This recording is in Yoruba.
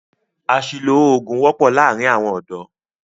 Àṣìlò oògùn wọ́pọ́ láàárín àwọn ọ̀dọ́.